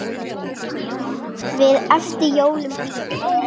Við eftir jólum bíðum.